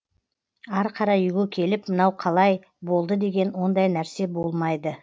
ары қарай үйге келіп мынау қалай болды деген ондай нәрсе болмайды